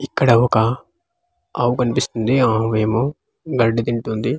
ఇక్కడ ఒక ఆవు కనిపిస్తుంది ఆ ఆవేమో గడ్డి తింటుంది.